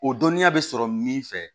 O dɔnniya bɛ sɔrɔ min fɛ